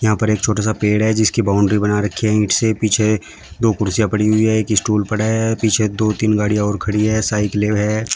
यहां पर एक छोटा सा पेड़ है जिसकी बाउंड्री बना रखी है ईंट से पीछे दो कुर्सियां पड़ी हुई हैं एक स्टूल पड़ा है पीछे दो तीन गाड़ियां और खड़ी है। साइकिलें हैं।